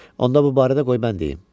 Onda bu barədə qoy mən deyim.